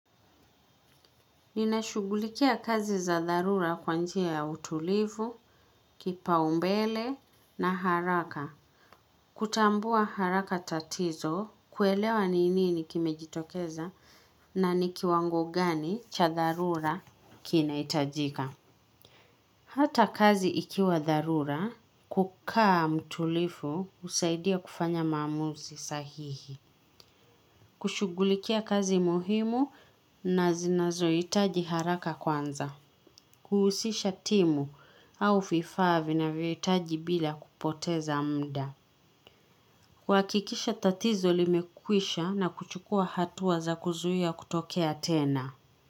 Ninashughulikia kazi za dharura kwa njia ya utulivu, kipaumbele na haraka. Kutambua haraka tatizo kuelewa ni nini kimejitokeza na ni kiwango gani cha dharura kinahitajika. Hata kazi ikiwa dharura kukaa mtulivu husaidia kufanya maamuzi sahihi. Kushughulikia kazi muhimu na zinazohitaji haraka kwanza. Kuhusisha timu au vifaa vinavyohitaji bila kupoteza muda. Huhakikisha tatizo limekwisha na kuchukua hatua za kuzuia kutokea tena.